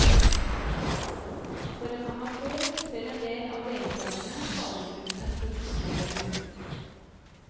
For en amatør ser en del av deltagerne faretruende profesjonelle ut.